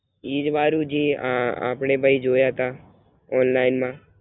ઈજ વરુ જે આ આપડે ભઈ જોયાતા Online માં.